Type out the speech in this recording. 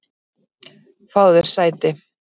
Fáðu þér sæti.